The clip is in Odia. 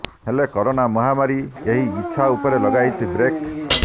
ହେଲେ କରୋନା ମହାମାରୀ ଏହି ଇଚ୍ଛା ଉପରେ ଲଗାଇଛି ବ୍ରେକ୍